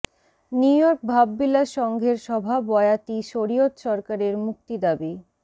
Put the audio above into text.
New York ভাববিলাস সংঘের সভা বয়াতি শরিয়ত সরকারের মুক্তি দাবি